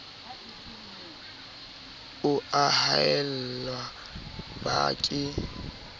o a haella ba ke